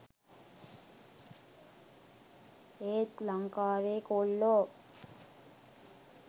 ඒත් ලංකාවේ කොල්ලෝ